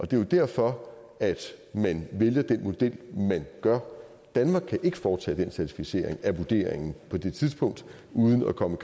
det er jo derfor man vælger den model man gør danmark kan ikke foretage den certificering af vurderingen på det tidspunkt uden at komme